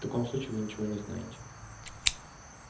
в таком случае вы ничего не знаете